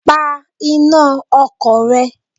Pa iná ọkọ̀ rẹ!